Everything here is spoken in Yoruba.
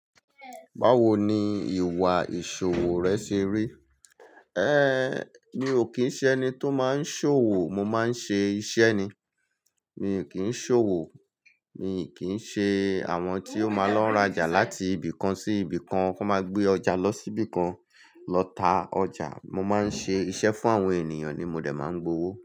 Báwo ni ìwà ìṣòwò rẹ ṣe rí. Ehn, mi ò kín ń ṣe ẹni tó máa ń ṣòwò, mo máa ń ṣe iṣẹ́ ni. Mi ò kín ń ṣòwò, mi ò kín ń ṣe àwọn tí ó máa lọ ń rájà láti ibìkan sí ibìkan, kó máa gbé ọjà lọ sí ibìkan lọ ta ọjà. Mo máa ń ṣe iṣẹ́ fún àwọn ènìyàn ni mo dè máa ń gbowó.